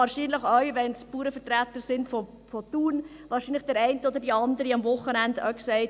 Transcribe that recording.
Wahrscheinlich hat auch die eine oder der andere, wenn es Bauernvertreter sind aus Thun, am Wochenende gesagt: